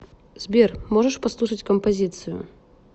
сбер можешь послушать композицию